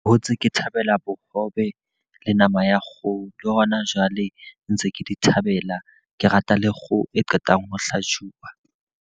Hotse ke thabela bohobe le nama ya kgoho. Le hona jwale ntse ke di thabela. Ke rata le kgoho e qetang ho hlajuwa.